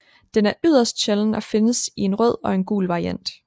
Den er yderst sjælden og findes i en rød og en gul variant